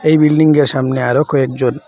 এই বিল্ডিংয়ের সামনে আরো কয়েকজন--